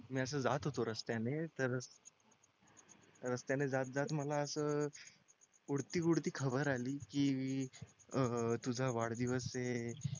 मी असं जात होतो रस्त्याने तर रस्त्याने जात जात मला असच उडती उडती खबर आली की अं तुझा वाढदिवस ये